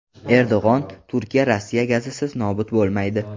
Erdo‘g‘on: Turkiya Rossiya gazisiz nobud bo‘lmaydi.